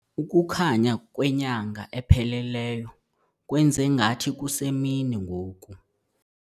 Ukukhanya kwenyanga epheleleyo kwenze ngathi kusemini ngoku.